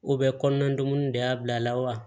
U bɛ kɔnɔna dumuni de y'a bila la wa